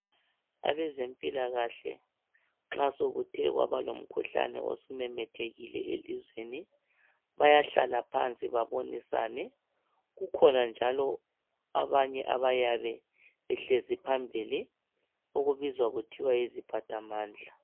Abezempilakahle nxa sokuthe kwaba lomkhuhlane osumemethekile elizweni bayahlala phansi babonisane, kukhona njalo abanye abayabe behlezi phambili okubizwa kuthiwa yiziphathamandla.